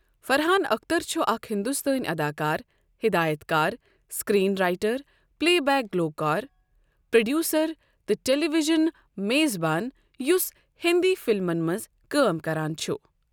فَرحان اختر چھُ اکھ ہندوستٲنی اداکار، ہِدایَت کار ، سِکریٖن رائٹر، پلے بیک گلوٗکار، پروڈیوسر، تہٕ ٹیلی ویژن میزبان یُس ہِنٛدی فلمَن منٛز کٲم کران چھُ۔